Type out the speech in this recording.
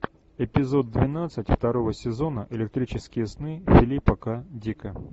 эпизод двенадцать второго сезона электрические сны филипа к дика